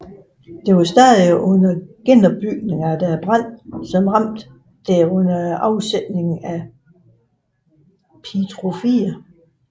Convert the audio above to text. Det var stadig under genopbygning efter branden som ramte det under afsættelsen af Pietro 4